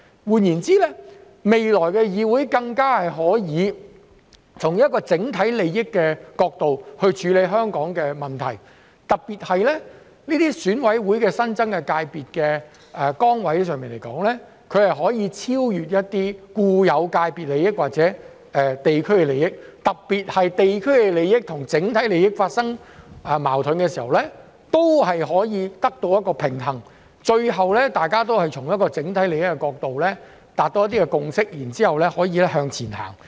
換言之，未來的議會更加可以從整體利益的角度處理香港的問題，特別是選委會的新增界別席位，亦可超越一些固有界別的利益或者地區利益，尤其是在地區利益與整體利益發生矛盾時，也能取得平衡，最後大家可以從整體利益的角度達到共識，然後再向前行。